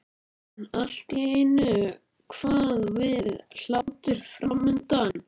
En allt í einu kvað við hlátur framundan.